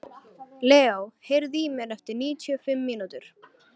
Leo, heyrðu í mér eftir níutíu og fimm mínútur.